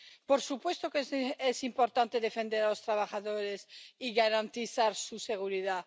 Por supuesto que es importante defender a los trabajadores y garantizar su seguridad.